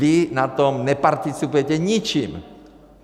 Vy na tom neparticipujete ničím.